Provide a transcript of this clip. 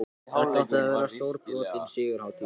Þetta átti að verða stórbrotin sigurhátíð!